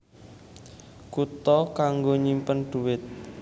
Kutha kanggo nyimpen dhuwit